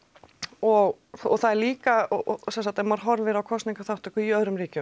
og það er líka sem sagt ef maður horfir á kosningaþátttöku í öðrum ríkjum